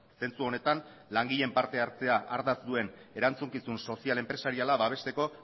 zentzu honetan langileen partehartzea ardatz duen erantzukizun sozial enpresariala babesteko